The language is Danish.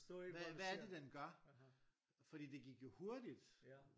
Hvad hvad er det den gør fordi det gik jo hurtigt